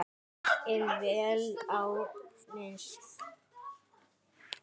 En vel á minnst.